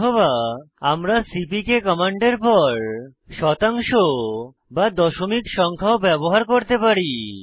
অথবা আমরা সিপিকে কমান্ড এর পর শতাংশ বা দশমিক সংখ্যা ও ব্যবহার করতে পারি